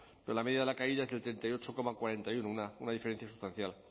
pero la media de la caída es del treinta y ocho coma cuarenta y uno una diferencia sustancial